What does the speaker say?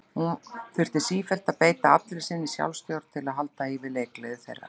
Hann þurfti sífellt að beita allri sinni sjálfstjórn til að halda í við leikgleði þeirra.